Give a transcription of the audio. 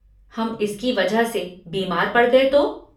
हम इसकी वजह से बीमार पड़ गए तो?